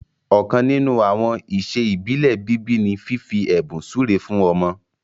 ọkan nínú àwọn iṣẹ ibile bíbí ní fífi ẹbùn súré fún ọmọ.